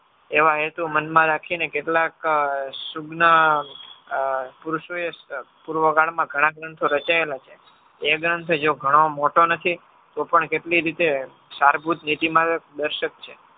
એવા હેતુ મનમાં રાખીને કેટલાક ઘણા ગ્રંથો રચાયેલા છે. એ ગ્રંથ જો ઘણો મોટો નથી તો પણ કેટલી રીતે સારભૂતનીતિમાં દર્શક છે.